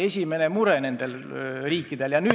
See oli nende riikide esimene mure.